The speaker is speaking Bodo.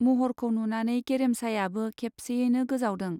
मह'रखौ नुनानै गेरेमसायाबो खेबसेयैनो गोजावदों।